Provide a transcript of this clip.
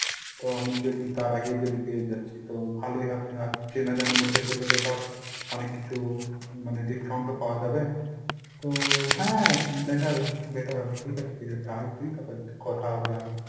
তো আমি যদি আর আগেই যদি পেয়ে যাচ্ছি তো ভালোই হবে আর চেনা জানার মধ্যে পেলে তো ধর অনেক কিছু মানে discount ও পাওয়া যাবে। তো হ্যাঁ better better হবে ঠিকাছে ঠিকাছে আয় তুই তারপর কথা হবে আরো।